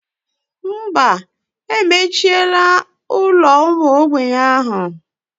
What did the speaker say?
Mba, emechiela ụlọ ụmụ ogbenye ahụ.